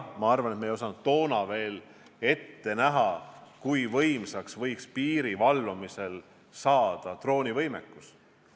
Ma arvan, et me ei osanud toona ette näha, kui suur võiks piiri valvamisel olla droonivõimekus.